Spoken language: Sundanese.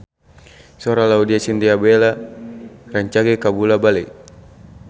Sora Laudya Chintya Bella rancage kabula-bale